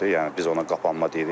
Yəni biz ona qapanma deyirik.